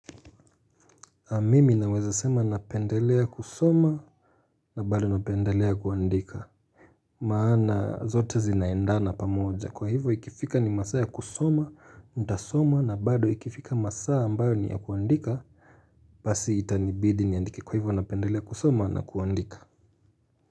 Mimi naweza sema napendelea kusoma na bado napendelea kuandika Maana zote zinaendana pamoja kwa hivyo ikifika ni masaa ya kusoma, nitasoma na bado ikifika masaa ambayo ni ya kuandika basi itanibidi niandike kwa hivyo napendelea kusoma na kuandika.